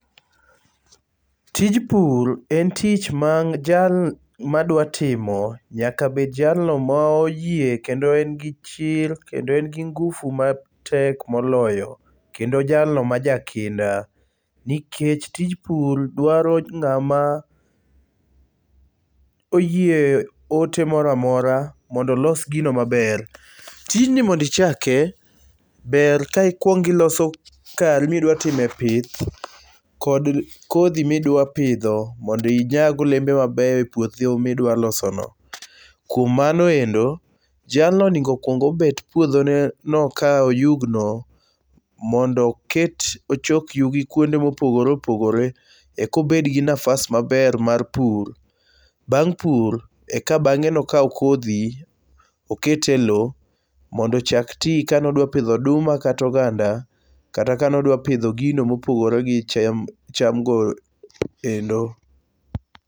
Tij pur en tich ma jal ma dwa timo nyaka bed jalno moyie kendo en gi chir kendo en gi ngufu matek moloyo kendo jalno ma jakinda. Nikech tij pur dwaro ng'ama oyie ote moro amora mondo olos gino maber. Tijni mondo ichake ber ka ikwongo iloso kari ma idwa time pith kod kodhi midwa pidho mond inyag olembe mabeyo e puothi midwa loso no. Kuom mano endo, jalno onego okwong obet puodho no ka oyugno mondo oket ochok yugi kwonde mopogore opogore eka obet gi nafas maber mar pur. Bag' pur e ka bang'eno okaw kodhi oket e low mondo ochak ti kanodwa pidho oduma kata oganda. Kata kanodwa pidho gino mopogore gi chamgo kendo.